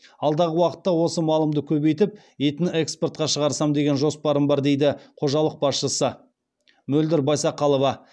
алдағы уақытта осы малымды көбейтіп етін экспортқа шағырсам деген жоспарым бар дейді қожалық басшысы мөлдір байсақалова